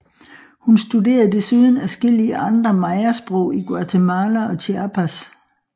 Hun studerede desuden adskillige andre Mayasprog i Guatemala og Chiapas